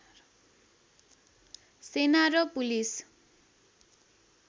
सेना र पुलिस